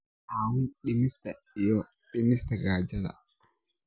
caawin dhimista iyo dhimista gaajada.